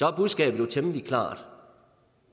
at budskabet jo er temmelig klart